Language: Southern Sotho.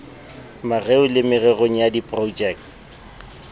mareo le mererong ya diprojekte